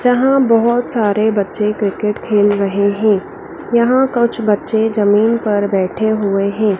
जहां बहोत सारे बच्चे क्रिकेट खेल रहे है यहां कुछ बच्चे जमीन पर बैठे हुए हैं।